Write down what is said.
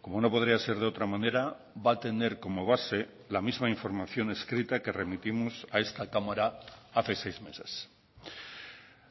como no podría ser de otra manera va a tener como base la misma información escrita que remitimos a esta cámara hace seis meses